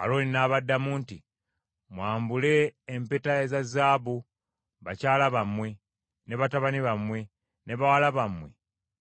Alooni n’abaddamu nti, “Mwambule empeta eza zaabu, bakyala bammwe, ne batabani bammwe, ne bawala bammwe